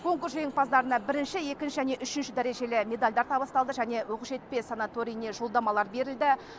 конкурс жеңімпаздарына бірінші екінші және үшінші дәрежелі медальдар табысталды және оқжетпес санаториіне жолдамалар берілді